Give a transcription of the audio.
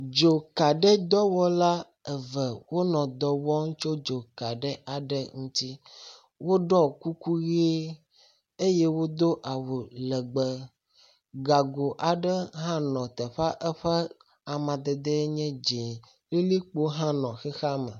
Dzoka ɖe dɔwɔla eve wonɔ dɔ wɔm tso dzoka aɖe ŋuti. Woɖɔ kuku ʋi eye wodo awu legbẽ. Gago aɖe hã nɔ teƒea, eƒe amadede enye dzɛ̃. Lilikpo hã nɔ xixea me.